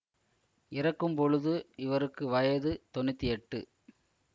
இறக்கும் பொழுது இவருக்கு வயது தொன்னூத்தி எட்டு